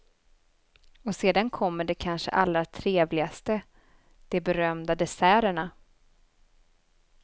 Och sedan kommer det kanske allra trevligaste, de berömda desserterna.